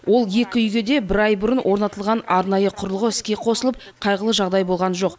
ол екі үйге де бір ай бұрын орнатылған арнайы құрылғы іске қосылып қайғылы жағдай болған жоқ